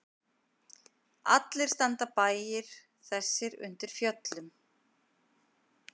Allir standa bæir þessir undir fjöllum.